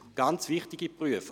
Es sind ganz wichtige Berufe.